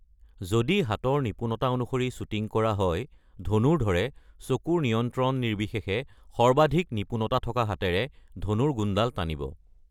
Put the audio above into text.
যদি হাতৰ নিপুণতা অনুসৰি শ্বুটিং কৰা হয়, ধনুৰ্ধৰে চকুৰ নিয়ন্ত্ৰণ নিৰ্বিশেষে সৰ্বাধিক নিপুণতা থকা হাতেৰে ধনুৰ গুণডাল টানিব।